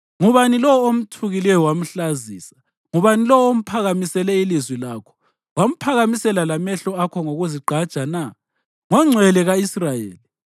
Ngubani lowo omthukileyo wamhlazisa? Ngubani lowo omphakamisele ilizwi lakho wamphakamisela lamehlo akho ngokuzigqaja na? NgoNgcwele ka-Israyeli!